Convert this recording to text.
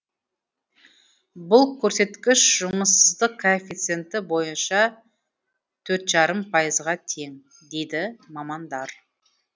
бұл көрсеткіш жұмыссыздық коэффициенті бойынша төрт жарым пайызға тең дейді мамандар